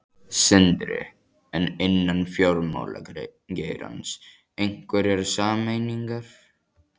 Sindri: En innan fjármálageirans, einhverjar sameiningar?